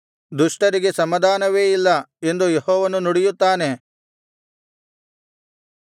ದುಷ್ಟರಿಗೆ ಸಮಾಧಾನವೇ ಇಲ್ಲ ಎಂದು ಯೆಹೋವನು ನುಡಿಯುತ್ತಾನೆ